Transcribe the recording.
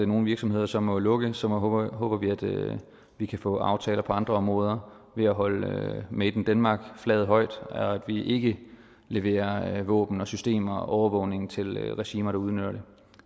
nogle virksomheder så må lukke så håber håber vi at vi kan få aftaler på andre områder ved at holde made in denmark flaget højt og at vi ikke leverer våben og systemer og overvågning til regimer der udnytter det